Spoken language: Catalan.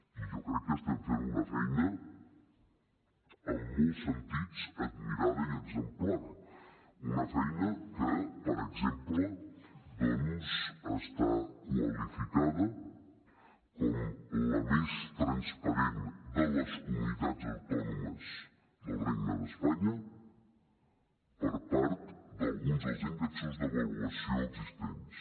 i jo crec que estem fent una feina en molts sentits admirada i exemplar una feina que per exemple doncs està qualificada com la més transparent de les comunitats autònomes del regne d’espanya per part d’alguns dels índexs d’avaluació existents